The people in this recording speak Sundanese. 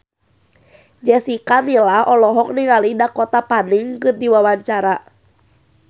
Jessica Milla olohok ningali Dakota Fanning keur diwawancara